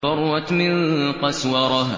فَرَّتْ مِن قَسْوَرَةٍ